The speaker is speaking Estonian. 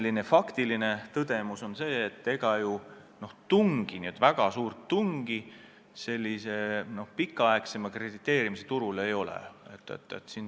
Teine faktiline tõdemus on see, et ega ju väga suurt tungi pikaajalisema krediteerimise turul ei ole.